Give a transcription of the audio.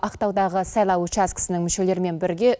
ақтаудағы сайлау учаскісінің мүшелерімен бірге